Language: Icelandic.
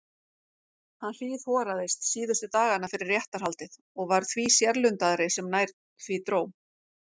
Hann hríðhoraðist síðustu dagana fyrir réttarhaldið og varð því sérlundaðri sem nær því dró.